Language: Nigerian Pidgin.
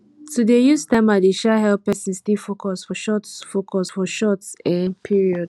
to dey use timer dey um help pesin stay focus for short focus for short um period